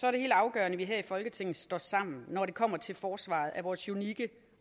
er det helt afgørende at vi her i folketinget står sammen når det kommer til forsvaret af vores unikke